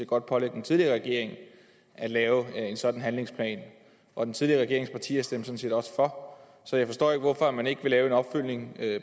godt pålægge den tidligere regering at lave en sådan handlingsplan og den tidligere regerings partier stemte sådan set også for så jeg forstår ikke hvorfor man ikke vil lave en opfølgning